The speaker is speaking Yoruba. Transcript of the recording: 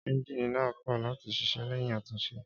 Énjìnì náà kò láti ṣiṣẹ́ léyìn àtúnṣe